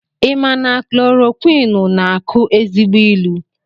I ma na klorokwinụ na akụ ezigbo ilu?